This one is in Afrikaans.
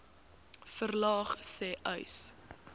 verlaag sê uys